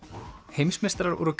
heimsmeistarar voru